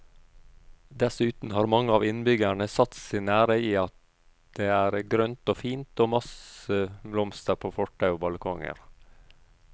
Dessuten har mange av innbyggerne satt sin ære i at det er grønt og fint og masse blomster på fortau og balkonger.